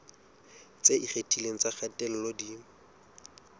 tse ikgethileng tsa kgatello di